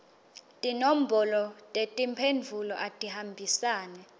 tinombolo tetimphendvulo atihambisane